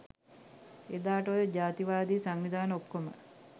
එදාට ඔය ජාතිවාදී සංවිධාන ඔක්කොම